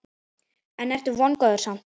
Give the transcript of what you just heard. En ertu vongóður samt?